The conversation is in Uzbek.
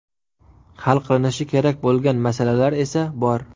Hal qilinishi kerak bo‘lgan masalalar esa bor.